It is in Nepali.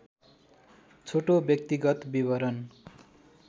छोटो व्यक्तिगत विवरण